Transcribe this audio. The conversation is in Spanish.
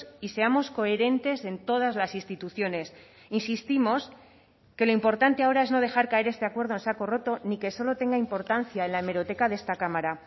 y seamos coherentes en todas las instituciones insistimos que lo importante ahora es no dejar caer este acuerdo en saco roto ni que solo tenga importancia en la hemeroteca de esta cámara